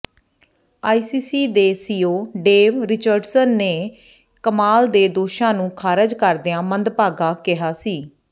ICC ਦੇ CEO Dave Richardson ਨੇ ਕਮਾਲ ਦੇ ਦੋਸ਼ਾਂ ਨੂੰ ਖਾਰਜ਼ ਕਰਦਿਆਂ ਮੰਦਭਾਗਾ ਕਿਹਾ ਸੀ